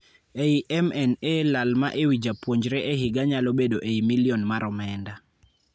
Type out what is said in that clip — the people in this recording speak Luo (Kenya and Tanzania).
Ei MNA lal ma ewii japuonjre e higa nyalo bedo ei milion mar omenda.